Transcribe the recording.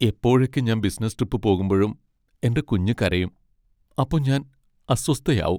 എപ്പോഴൊക്കെ ഞാൻ business trip പോകുമ്പഴും എന്റെ കുഞ്ഞു കരയും, അപ്പൊ ഞാൻ അസ്വസ്ഥയാവും.